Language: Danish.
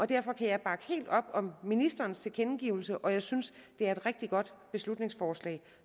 derfor kan jeg bakke helt op om ministerens tilkendegivelser og jeg synes at det er rigtig godt beslutningsforslag